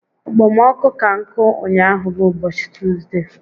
Okpomọkụ ka nkụ ụnyaahụ bụ ụbọchị Tuzde